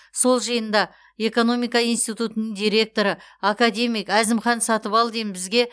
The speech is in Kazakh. сол жиында экономика институтының директоры академик әзімхан сатыбалдин бізге